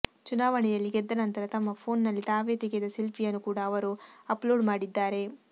ಚುನಾವಣೆಯಲ್ಲಿ ಗೆದ್ದ ನಂತರ ತಮ್ಮ ಫೋನ್ನಲ್ಲಿ ತಾವೇ ತೆಗೆದ ಸೆಲ್ಫೀಯನ್ನು ಕೂಡ ಅವರು ಅಪ್ಲೋಡ್ ಮಾಡಿದ್ದಾರೆ